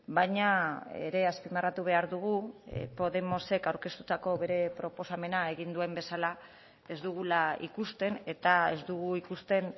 baina ere azpimarratu behar dugu podemosek aurkeztutako bere proposamena egin duen bezala ez dugula ikusten eta ez dugu ikusten